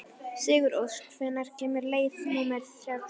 Sigurósk, hvenær kemur leið númer þrjátíu?